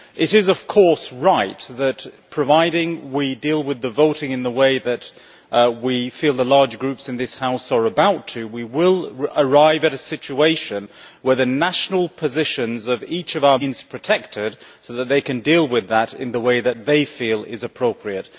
It is of course right that providing we deal with the voting in the way that we feel the large groups in this House are about to we will arrive at a situation where the national positions of each of our Member States remain protected, so that they can deal with that in the way that they feel is appropriate.